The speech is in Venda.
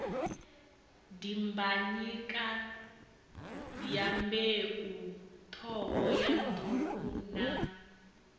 dimbanyika dyambeu t hohoyandou na